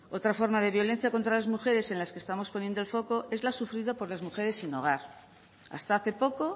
otra forma de violencia contra las mujeres en la que estamos poniendo el foco es la sufrida por las mujeres sin hogar hasta hace poco